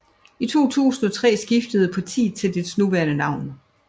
I 2003 skiftede partiet til dets nuværendenavn